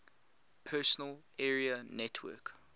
personal area network